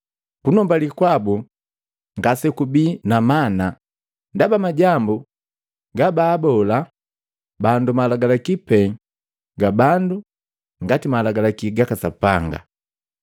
Kunumbali kwabu ngasekubii na mana, ndaba majambu gabaabola bandu malagalaki pee ga bandu ngati malagalaki gaka Sapanga.’